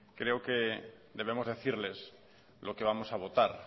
creo que debemos decirles lo que vamos a votar